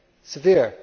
severe?